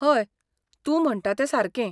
हय, तूं म्हणटा तें सारकें.